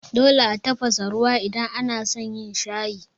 Dole a tafasa ruwa idan anason yin shayi.